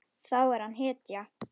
Þá er hann hetja.